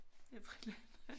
Er frit land